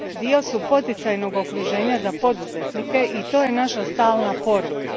Dio su poticajnoga okruženja za poduzetnike i to je naša stalna poruka.